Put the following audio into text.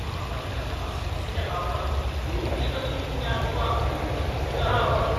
आपणिकः स्वस्य आपणं लुण्ठितमिति ज्ञात्वा उद्विग्नः अभवत्।